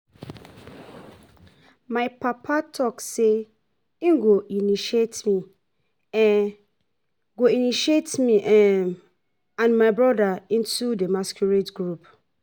My papa talk say he go initiate me go initiate me and my broda into the masquerade group